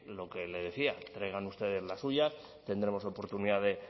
lo que le decía traigan ustedes las suyas tendremos oportunidad de